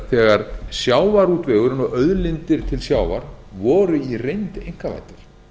þegar sjávarútvegurinn og auðlindir til sjávar voru í reynd einkavæddar